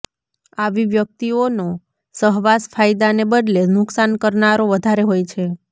આવી વ્યક્તિઓનો સહવાસ ફાયદાને બદલે નુકસાન કરનારો વધારે હોય છે